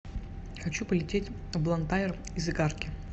хочу полететь в блантайр из игарки